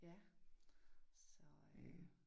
Ja så øh